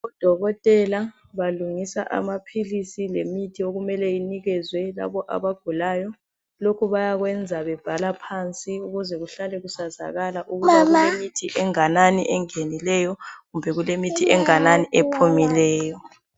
Odokotela balungisa amaphilisi lemithi okumele inikezwe labo abagulayo. Lokhu bayakwenza bebhala phansi ukuze kuhlale kusazakala ukuba kulemithi enganani engenileyo kumbe kulemithi enganani ephumileyo.